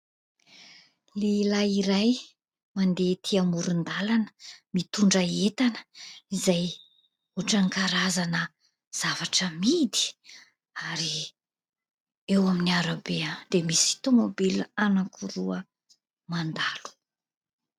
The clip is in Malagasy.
Lehilay iray mandeha etỳ amoron-dalana, mitondra entana izay ohatran'ny karazana zavatra amidy. Ary eo amin'ny arabe dia misy tômôbila anankiroa mandalo.